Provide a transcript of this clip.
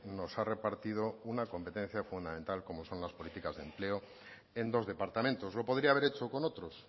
nos ha repartido una competencia fundamental como son las políticas de empleo en dos departamentos lo podría haber hecho con otros